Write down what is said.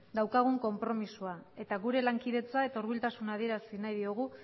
daukagun konpromezua eta gure lankidetza eta hurbiltasuna adierazi nahi diogu